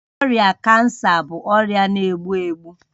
Ọrịa kansa bụ ọrịa na-egbu egbu